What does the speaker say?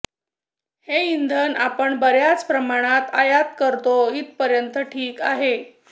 हे इंधन आपण बऱ्याच प्रमाणात आयात करतो इथपर्यंत ठिक आहे